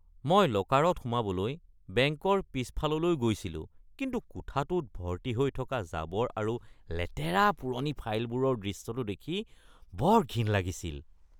মই লকাৰত সোমাবলৈ বেংকৰ পিছফাললৈ গৈছিলো কিন্তু কোঠাটোত ভৰ্তি হৈ থকা জাবৰ আৰু লেতেৰা পুৰণি ফাইলবোৰৰ দৃশ্যটো দেখি বৰ ঘিণ লাগিছিল।